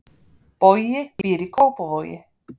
Bogi býr í Kópavogi.